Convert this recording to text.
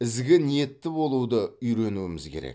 ізгі ниетті болуды үйренуіміз керек